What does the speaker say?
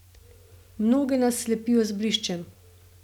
Mnoge nas slepijo z bliščem.